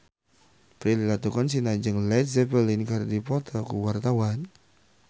Prilly Latuconsina jeung Led Zeppelin keur dipoto ku wartawan